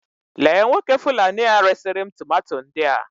Lee Nwoke Fulani a resi ri'm tomato ndia